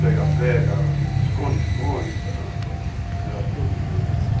pega-pega, esconde-esconde, sei lá, era todo dia.